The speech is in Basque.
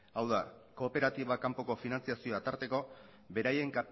hau da kooperatiba kanpoko finantziazioa tarteko beraien